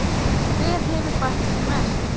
Hver hefur bætt sig mest?